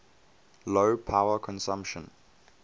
low power consumption